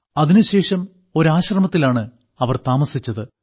അതിനുശേഷം ഒരാശ്രമത്തിലാണ് അവർ താമസിച്ചത്